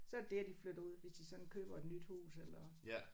Så det dér de flytter ud hvis de sådan køber et nyt hus eller